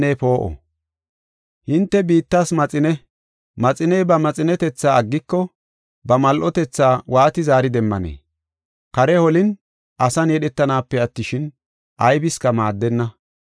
“Hinte biittas maxine; maxiney ba maxinetetha aggiko, ba mal7otetha waati zaari demmanee? Kare holin asan yedhetanaape attishin, aybiska maaddenna.